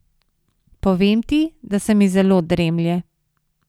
Povem ti, da se mi zelo dremlje.